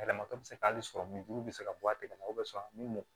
Yɛlɛmatɔ bɛ se ka hali sɔrɔ min juru bɛ se ka bɔ a tɛgɛ la mɔ